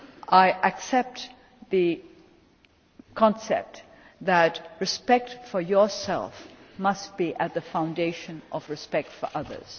I accept the concept that respect for yourself must be at the foundation of respect for others.